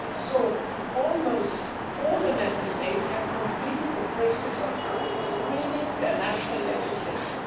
So, almost all Member States have completed the process of screening' their national legislation.